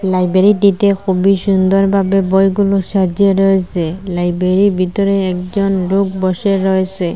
লাইব্রেরীটিতে খুবই সুন্দরভাবে বইগুলো সাজিয়ে রয়েসে লাইব্রেরীর ভিতরে একজন লোক বসে রয়েসে।